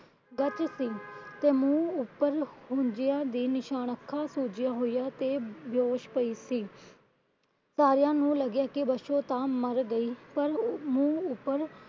ਗੱਚ ਸੀ। ਤੇ ਮੂੰਹ ਉੱਪਰ ਹੂੰਝਿਆ ਦੇ ਨਿਸ਼ਾਨ ਅੱਖਾਂ ਸੁੱਜੀਆਂ ਹੋਇਆ ਸੀ। ਤੇ ਬੇਹੋਸ਼ ਪਈ ਸੀ। ਸਾਰਿਆਂ ਨੂੰ ਲੱਗਾ ਪਾਸ਼ੋ ਤਾਂ ਮਰ ਗਈ। ਮੂੰਹ ਉੱਪਰ